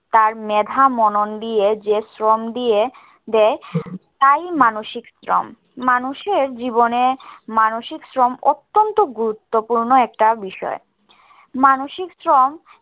তার মেধা মনন দিয়ে যে শ্রম দিয়ে দেয় তাই মানসিক শ্রম। মানুষের জীবনে মানসিক শ্রম অত্যন্ত গুরুত্বপূর্ণ একটা বিষয়। মানসিক শ্রম